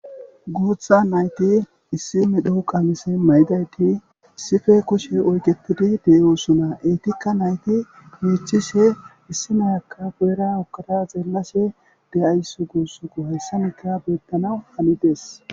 guutha nayti issi medho qamise maydayti issippe kushe oyketidi de7osuna eetikka nayti miichishe issi nayakka boera okkada xeelashe de7aysu guusuku hayssamikka beettana hanides